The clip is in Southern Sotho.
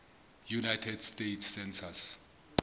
united states census